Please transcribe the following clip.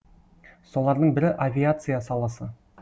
солардың бірі авиация саласы